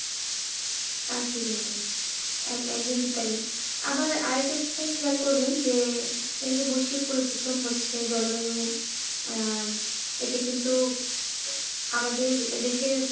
আসলেই তাই একদমই তাই আবার আর একটা আপনি খেয়াল করবেন যে এই যে বৈশিক পরিবর্তন হচ্ছে যে জলবায়ু আহ এতে কিন্তু আমাদের দেশের,